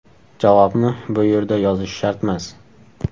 Javobni bu yerda yozish shartmas.